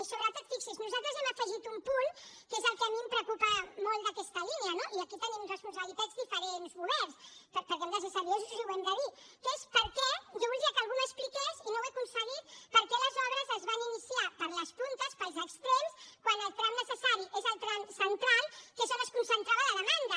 i sobretot fixi’s nosaltres hem afegit un punt que és el que a mi em preocupa molt d’aquesta línia no i aquí tenim responsabilitats diferents governs perquè hem de ser seriosos i ho hem de dir que és per què jo voldria que algú m’ho expliqués i no ho he aconseguit les obres es van iniciar per les puntes pels extrems quan el tram necessari és el tram central que és on es concentrava la demanda